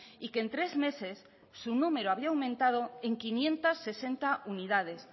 y que en tres meses su número había aumentado en quinientos sesenta unidades